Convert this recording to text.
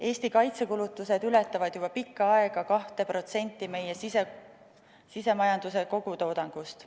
Eesti kaitsekulutused ületavad juba pikka aega 2% meie sisemajanduse kogutoodangust.